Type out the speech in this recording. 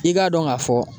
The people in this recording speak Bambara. I k'a dɔn k'a fɔ